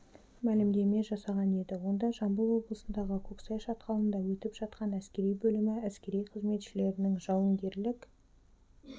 мәлімдеме жасаған еді онда жамбыл облысындағы көксай шатқалында өтіп жатқан әскери бөлімі әскери қызметшілерінің жауынгерлік